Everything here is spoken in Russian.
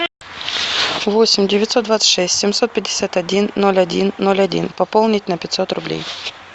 восемь девятьсот двадцать шесть семьсот пятьдесят один ноль один ноль один пополнить на пятьсот рублей